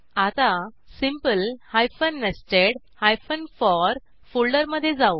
आता simple nested for फोल्डरमधे जाऊ